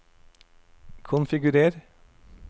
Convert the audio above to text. konfigurer